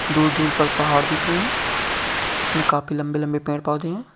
दूर-दूर तक पहाड़ दिख रहे हैं जिसमें काफी लंबे-लंबे पेड़-पौधे हैं।